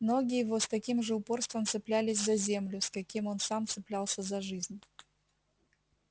ноги его с таким же упорством цеплялись за землю с каким сам он цеплялся за жизнь